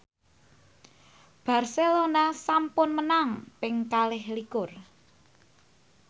Barcelona sampun menang ping kalih likur